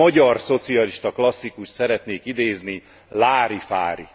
Egy magyar szocialista klasszikust szeretnék idézni lárifári!.